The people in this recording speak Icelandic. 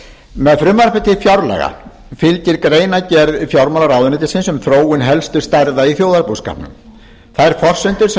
með frumvarpi til fjárlaga fylgir greinargerð fjármálaráðuneytisins um þróun helstu stærða í þjóðarbúskapnum þær forsendur sem